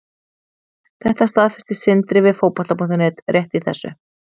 Þetta staðfesti Sindri við Fótbolta.net rétt í þessu.